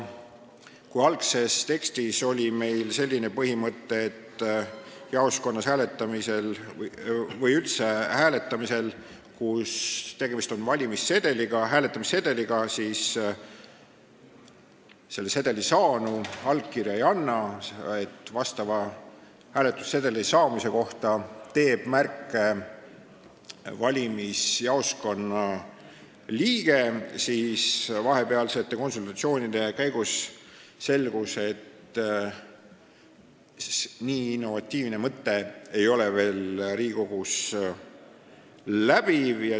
Kui algses tekstis oli selline põhimõte, et jaoskonnas hääletamisel või üldse hääletamisel, kui tegemist on hääletamissedeliga, selle sedeli saanu allkirja ei anna, hääletamissedeli saamise kohta teeb märke valimisjaoskonna liige, siis vahepealsete konsultatsioonide käigus selgus, et nii innovatiivne mõte ei ole veel Riigikogus üldine.